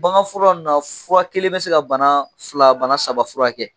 Baganfura ninnu na , fura kelen bɛ se ka bana fila bana saba fura kɛ.